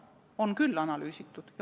On küll analüüsitud!